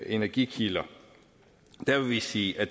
energikilder vil vi sige at